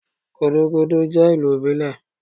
Gudugudu je ilù ibílé